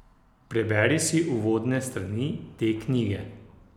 Preberi si uvodne strani te knjige!